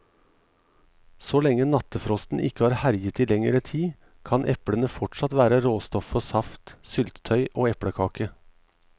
Så lenge nattefrosten ikke har herjet i lengre tid, kan eplene fortsatt være råstoff for saft, syltetøy og eplekake.